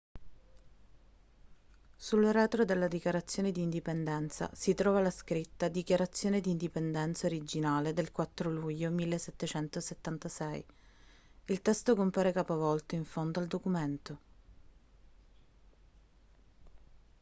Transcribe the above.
sul retro della dichiarazione di indipendenza si trova la scritta dichiarazione di indipendenza originale del 4 luglio 1776 il testo compare capovolto in fondo al documento